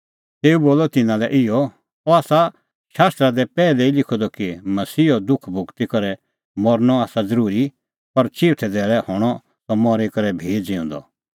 तेऊ बोलअ तिन्नां लै इहअ अह आसा शास्त्रा दी पैहलै ई लिखअ द कि मसीहो दुख भोगी करै मरनअ आसा ज़रूरी पर चिऊथै धैल़ै हणअ सह मरी करै भी ज़िऊंदअ